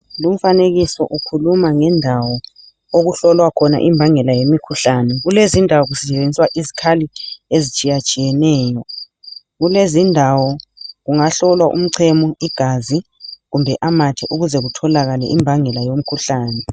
Lumfanekiso ukhuluma ngendawo okuhlolwakhona imbangela yomikhuhlane kulezindawo kusetshenziswa izikhali ezitshiyatshiyeneyo, kungahlolwa umchemo, igazi kumbe amathe ukuze kutholakale imbangela yomkhulane.